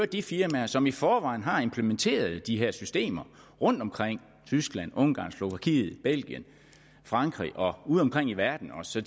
de firmaer som i forvejen har implementeret de her systemer rundtomkring i tyskland ungarn slovakiet belgien frankrig udeomkring i verden så